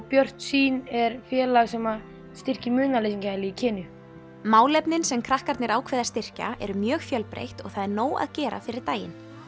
Björt sýn er félag sem styrkir munaðarleysingjahæli í málefnin sem krakkarnir ákveða að styrkja eru mjög fjölbreytt og það er nóg að gera fyrir daginn